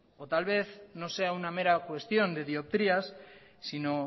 o tal vez no sea una mera cuestión de dioptrías sino